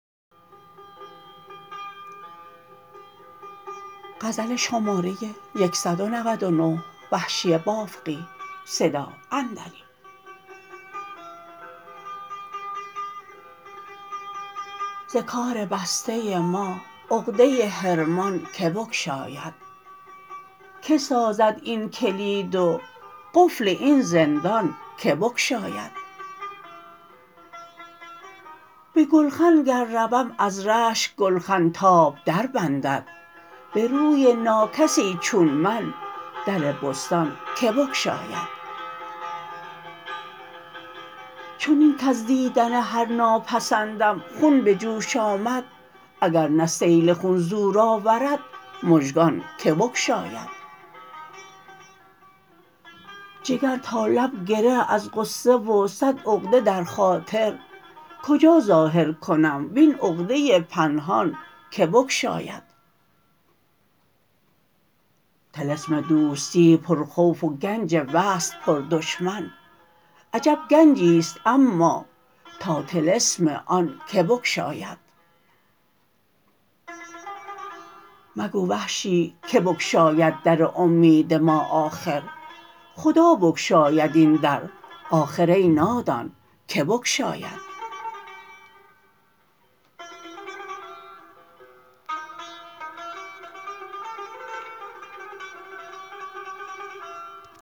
ز کار بسته ما عقده حرمان که بگشاید که سازد این کلید و قفل این زندان که بگشاید به گلخن گر روم از رشک گلخن تاب در بندند به روی ناکسی چون من در بستان که بگشاید چنین کز دیدن هر ناپسندم خون بجوش آمد اگر نه سیل خون زور آورد مژگان که بگشاید جگر تا لب گره از غصه و سد عقده در خاطر کجا ظاهر کنم وین عقده پنهان که بگشاید طلسم دوستی پرخوف و گنج وصل پردشمن عجب گنجی ست اما تا طلسم آن که بگشاید مگو وحشی که بگشاید در امید ما آخر خدا بگشاید این در آخر ای نادان که بگشاید